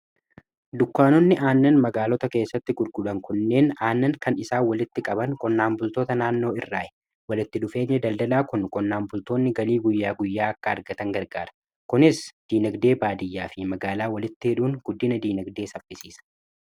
dukkaanonni aannan magaalota keessatti gurguran kunneen aannan kan isaa walitti qaban qonnaan bultoota naannoo irraa'i. kunis walitti dhufeenya daldalaa kun qonnaan bultoonni galii guyyaa guyyaa akka argatan gargaara kunis diinagdee baadiyyaa fi magaalaa walitti hidhuun guddina diinagdee safisiisa.